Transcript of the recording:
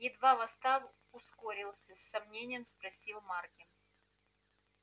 едва восстав ускорился с сомнением спросил маркин